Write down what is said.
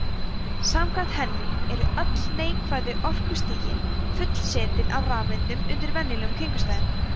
samkvæmt henni eru öll neikvæðu orkustigin fullsetin af rafeindum undir venjulegum kringumstæðum